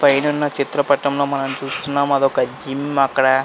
పైనున్న చిత్రపటంలో మనం చూస్తున్నాం అది ఒక జిమ్ . అక్కడ--